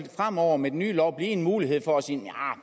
fremover med den nye lov blive en mulighed for at sige nja